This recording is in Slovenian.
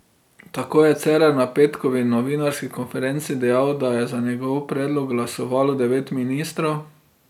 Tako je Cerar na petkovi novinarski konferenci dejal, da je za njegov predlog glasovalo devet ministrov.